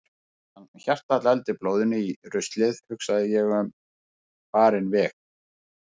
Meðan hjartað dældi blóðinu í ruslið hugsaði ég um farinn veg.